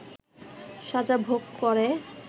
সাজা ভোগ করে